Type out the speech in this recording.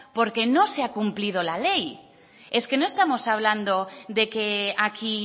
porque no se ha cumplido la ley es que no estamos hablando de que aquí